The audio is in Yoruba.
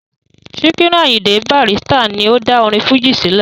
Sikiru Ayinde Barrister ni ó dá orin fújì sílẹ̀.